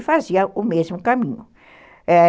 E fazia o mesmo caminho, é.